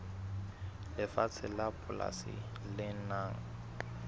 lefatshe la polasi le nang